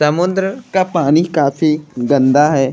समुन्द्र का पानी काफी गन्दा है।